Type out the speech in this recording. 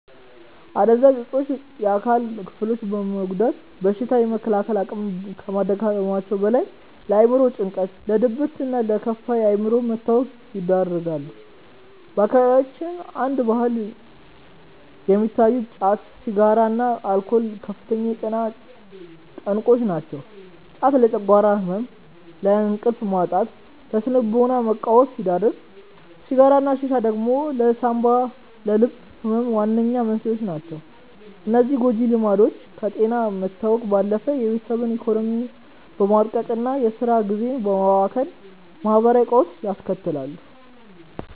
አደንዛዥ እፆች የአካል ክፍሎችን በመጉዳት በሽታ የመከላከል አቅምን ከማዳከማቸውም በላይ፣ ለአእምሮ ጭንቀት፣ ለድብርትና ለከፋ የአእምሮ መታወክ ይዳርጋሉ። በአካባቢያችን እንደ ባህል የሚታዩት ጫት፣ ሲጋራና አልኮል ከፍተኛ የጤና ጠንቆች ናቸው። ጫት ለጨጓራ ህመም፣ ለእንቅልፍ ማጣትና ለስነ-ልቦና መቃወስ ሲዳርግ፣ ሲጋራና ሺሻ ደግሞ ለሳንባና ለልብ ህመም ዋነኛ መንስኤዎች ናቸው። እነዚህ ጎጂ ልምዶች ከጤና መታወክ ባለፈ የቤተሰብን ኢኮኖሚ በማድቀቅና የስራ ጊዜን በማባከን ማህበራዊ ቀውስ ያስከትላሉ።